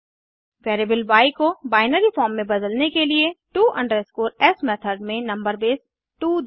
variable y को binary form में बदलने के लिए to s मेथड में नंबर बेस 2 दें